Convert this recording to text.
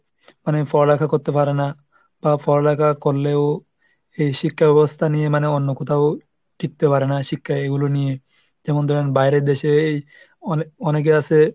মানে পড়ালেখা করতে পারে না বা পড়ালেখা করলেও এই শিক্ষাব্যবস্থা নিয়ে মানে অন্য কোথাও টিকতে পারে না, শিক্ষা এইগুলো নিয়ে, যেমন ধরেন বাইরের দেশে অনে ⁓ অনেকে আছে,